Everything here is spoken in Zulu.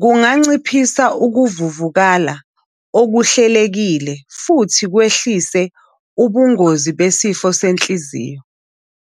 kunganciphisa ukuvuvukala okuhlelekile futhi kwehlise ubungozi besifo senhliziyo.